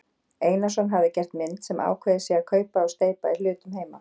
Einarsson hafi gert mynd sem ákveðið sé að kaupa og steypa í hlutum heima.